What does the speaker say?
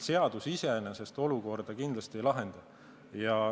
Seadus iseenesest olukorda kindlasti ei lahenda.